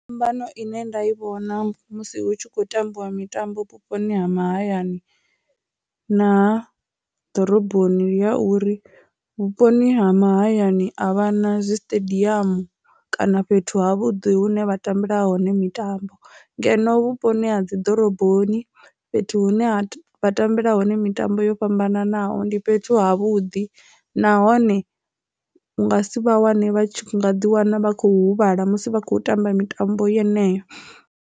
Phambano ine nda i vhona musi hu tshi khou tambiwa mitambo vhuponi ha mahayani na ha ḓoroboni ya uri vhuponi ha mahayani a vha na zwiṱediamu kana fhethu ha vhuḓi hune vha tambela hone mitambo, ngeno vhuponi ha dzi ḓoroboni fhethu hune ha vha tambela hone mitambo yo fhambananaho ndi fhethu ha vhuḓi nahone nga si vha wane vha nga ḓi wana vha khou huvhala musi vha khou tamba mitambo yeneyo.